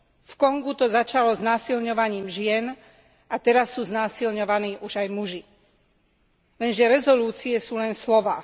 V Kongu to začalo znásilňovaním žien a teraz sú znásilňovaní už aj muži. Lenže rezolúcie sú len slová.